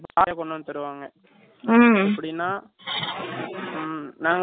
non veg னா ம் நாங்க veg ரெண்டுமே செத்துருவாங்க non veg க்கு